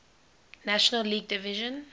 national league division